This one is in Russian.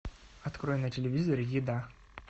открой на телевизоре еда